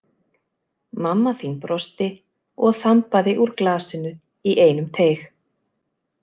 Mamma þín brosti og þambaði úr glasinu í einum teyg.